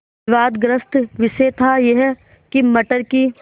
विवादग्रस्त विषय था यह कि मटर की